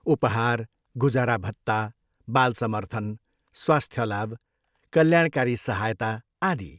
उपहार, गुजारा भत्ता, बाल समर्थन, स्वास्थ्य लाभ, कल्याणकारी सहायता, आदि।